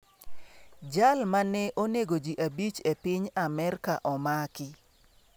Jal ma ne onego ji abich e piny Amerka omaki